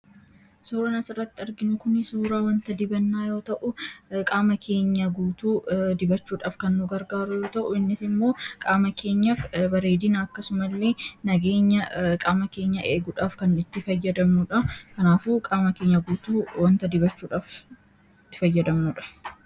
Suuraan asirratti arginu kun suuraa wanta dibannaa yoo ta'u, qaama keenya guutuu dibachuudhaaf kan nu gargaaru yommuu ta'u, innis immoo qaama keenyaaf bareedina akkasumallee nageenya qaama keenyaa eeguudhaaf kan nu gargaaruudha. Kanaafuu qaama keenya guutuu wanta dibachuudhaaf itti fayyadamnuudha.